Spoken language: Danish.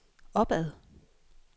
opad